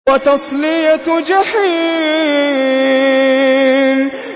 وَتَصْلِيَةُ جَحِيمٍ